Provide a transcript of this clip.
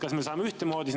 Kas me saame ühtemoodi aru …